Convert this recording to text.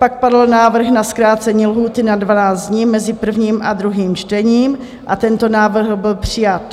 Pak padl návrh na zkrácení lhůty na 12 dní mezi prvním a druhým čtením a tento návrh byl přijat.